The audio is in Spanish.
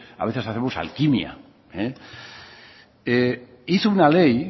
a veces hacemos alquimia hizo una ley